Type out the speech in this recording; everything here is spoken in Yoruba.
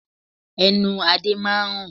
Ẹnu Adé máa ń rùn.